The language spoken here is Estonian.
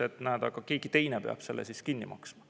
Öeldakse, et näed, keegi teine peab selle kinni maksma.